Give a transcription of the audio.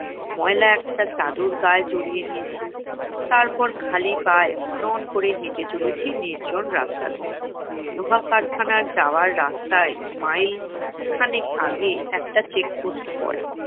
ময়লা একটা চাদর গায়ে জড়িয়ে নিয়েছি। তারপর খালি পায়ে হন হন করে হেঁটে চলেছি নির্জন রাস্তা দিয়ে। লোহা কারখানার যাওয়ার রাস্তায় মাইল খানেক আগে একটা check post পরে।